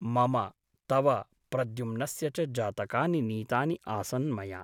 मम , तव , प्रद्युम्नस्य च जातकानि नीतानि आसन् मया ।